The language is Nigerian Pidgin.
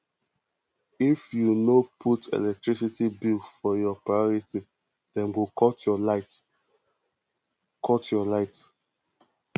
if you no put electricity bills for your priority dem go cut your light cut your light